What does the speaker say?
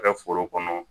Kɛ foro kɔnɔ